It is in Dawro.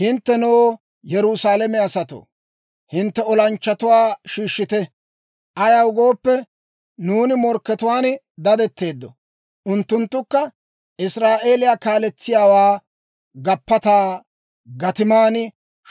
Hinttenoo, Yerusaalame asatoo, hintte olanchchatuwaa shiishshite! Ayaw gooppe, nuuni morkkatuwaan dadetteedda; unttunttukka Israa'eeliyaa kaaletsiyaawaa gappataa gatiman